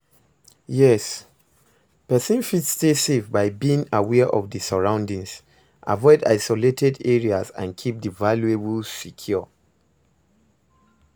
Yes, pesin fit stay safe by being aware of di surroundings, avoid isolated areas and keep di valuables secure.